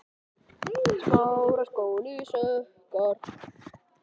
Finnbjörk, hvaða vikudagur er í dag?